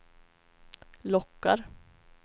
lockar